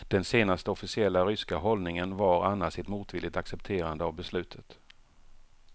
Den senaste officiella ryska hållningen var annars ett motvilligt accepterande av beslutet.